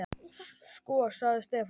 Sko. sagði Stefán.